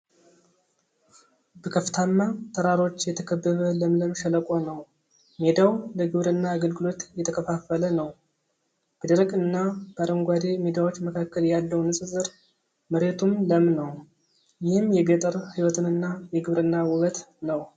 በከፍታማ ተራሮች የተከበበ ለምለም ሸለቆ ነው። ሜዳው ለግብርና አገልግሎት የተከፋፈለ ነው። በደረቅና በአረንጓዴ ሜዳዎች መካከል ያለው ንፅፅር መሬቱም ለም ነው። ይህም የገጠር ሕይወትንና የግብርና ውበት ነው ።